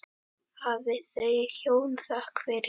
Hafi þau hjón þökk fyrir.